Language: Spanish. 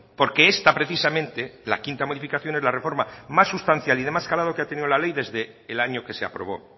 porque esta precisamente la quinta modificación es la reforma más sustancial y de más calado que ha tenido la ley desde el año que se aprobó